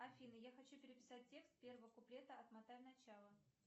афина я хочу переписать текст первого куплета отмотай начало